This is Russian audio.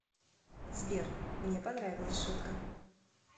сбер мне понравилась шутка